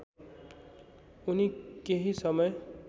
उनी केही समय